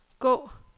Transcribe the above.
gå